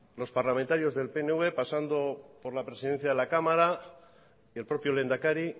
los parlamentarios del pnv pasando por la presidencia de la cámara el propio lehendakari